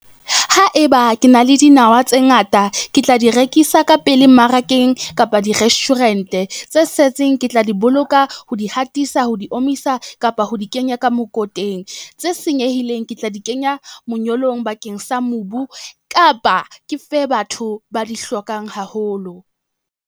Haeba ke na le dinawa tse ngata, ke tla di rekisa ka pele mmarakeng kapa di-restaurant-e. Tse setseng ke tla di boloka, ho di hatisa, ho di omisa kapa ho di kenya ka mokoteng. Tse senyehileng, ke tla di kenya monyolong bakeng sa mobu kapa ke fe batho ba di hlokang haholo.